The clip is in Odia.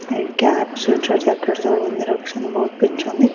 ଏଇ କ୍ୟାପ ସ୍ଵେଟର ଜ୍ୟାକେଟ ସବୁ ରଖିଛନ୍ତି ବହୁତ ପିନ୍ଧିଛନ୍ତି ।